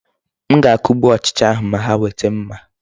M ga-akugbu ochịcha ahụ ma ha weta mma.